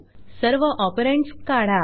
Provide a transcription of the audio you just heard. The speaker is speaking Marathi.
सर्व ऑपरंड्स काढा